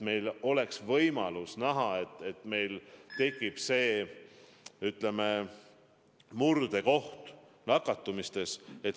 Me peame saama võimaluse näha, et meil on tekkinud see, ütleme, murdekoht nakatumistes.